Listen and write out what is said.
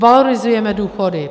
Valorizujeme důchody.